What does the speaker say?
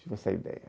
Tive essa ideia.